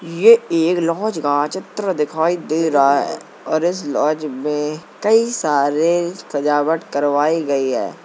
ये एक लॉज का चित्र दिखाई दे रहा है और इस लॉज में कई सारे सजावट करवाई गयी है।